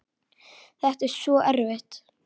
Þetta er svo erfitt.